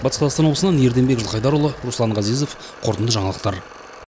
батыс қазақстан облысынан ерденбек жылқайдарұлы руслан ғазезов қорытынды жаңалықтар